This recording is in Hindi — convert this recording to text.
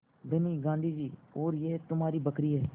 धनी गाँधी जी और यह तुम्हारी बकरी है